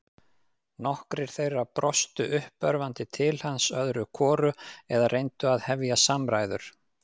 Nokkrir þeirra brostu uppörvandi til hans öðru hvoru eða reyndu að hefja samræður.